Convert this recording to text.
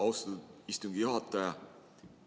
Austatud istungi juhataja!